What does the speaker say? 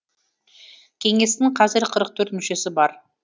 кеңестің қазір қырық төрт мүшесі бар